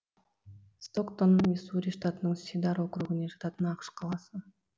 стоктон миссури штатының сидар округіне жататын ақш қаласы